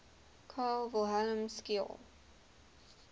carl wilhelm scheele